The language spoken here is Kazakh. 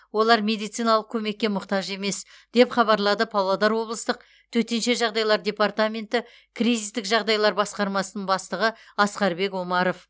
олар медициналық көмекке мұқтаж емес деп хабарлады павлодар облыстық төтенше жағдайлар департаменті кризистік жағдайлар басқармасының бастығы асқарбек омаров